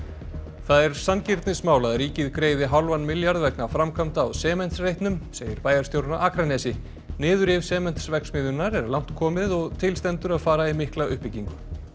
það er sanngirnismál að ríkið greiði hálfan milljarð vegna framkvæmda á Sementsreitnum segir bæjarstjórinn á Akranesi niðurrif Sementsverksmiðjunnar er langt komið og til stendur að fara í mikla uppbyggingu